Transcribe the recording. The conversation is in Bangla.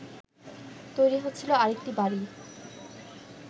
তৈরি হচ্ছিল আরেকটি বাড়ি